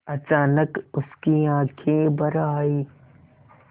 अचानक उसकी आँखें भर आईं